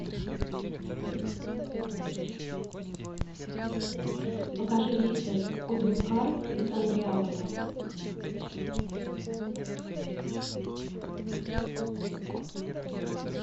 покажи рейсы в кудымкар из андреаполя